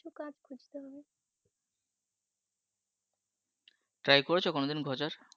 try করেছো কোনোদিন খোঁজার?